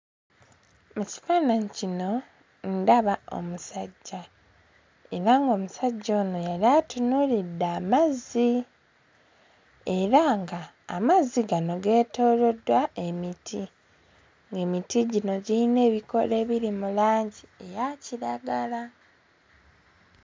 Mu kifaananyi kino ndaba omusajja era ng'omusajja ono yali atunuulidde amazzi era nga amazzi gano geetooloddwa emiti emiti gino giyina ebikoola ebiri mu langi eya kiragala.